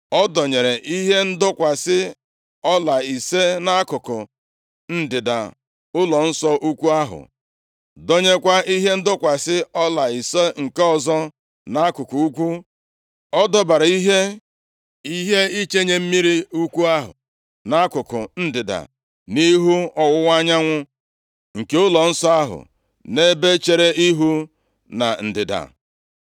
Ọ dọnyere ihe ndọkwasị ọla ise nʼakụkụ ndịda ụlọnsọ ukwu ahụ, dọnyekwa ihe ndọkwasị ọla ise nke ọzọ nʼakụkụ ugwu. Ọ dọbara ihe ichenye mmiri ukwu ahụ nʼakụkụ ndịda, nʼihu ọwụwa anyanwụ nke ụlọnsọ ahụ, nʼebe chere ihu na ndịda.